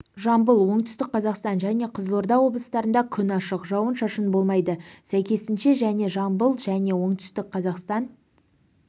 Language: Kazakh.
жамбыл оңтүстік қзаақстан және қызылорда облыстарында күн ашық жауын-шашын болмайды сәйкесінше және жамбыл және оңтүстік қазақстан